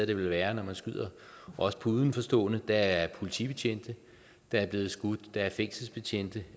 det vel værre når man skyder på udenforstående der er politibetjente der er blevet skudt og der er fængselsbetjente